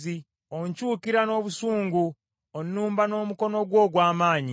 Onkyukira n’obusungu; onnumba n’omukono gwo ogw’amaanyi.